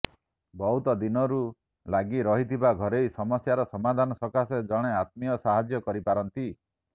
ବହୁତ ଦିନରୁ ଲାଗି ରହିଥିବା ଘରୋଇ ସମାସ୍ୟାର ସମାଧାନ ସକାଶେ ଜଣେ ଆତ୍ମୀୟ ସାହାଯ୍ୟ କରିପାରନ୍ତି